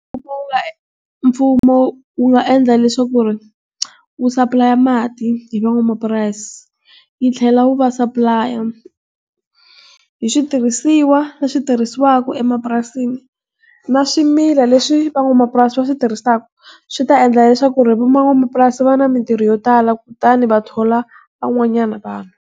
Mfumo, wu nga endla leswaku ku ri, wu supply-a mati, hi van'wamapurasi. Yi tlhela wu va supply-a hi switirhisiwa leswi swi tirhisiwaka emapurasini. Na swimila leswi van'wamapurasi va swi tirhisaka, swi ta endla leswaku ri van'wamapurasi va na mintirho yo tala kutani va thola van'wanyana vanhu.